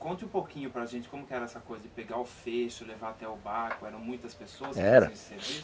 Conte um pouquinho para gente como que era essa coisa de pegar o fecho, levar até o barco, eram muitas pessoas que faziam esse serviço? Eram.